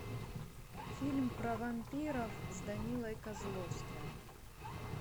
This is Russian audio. фильм про вампиров с данилой козловским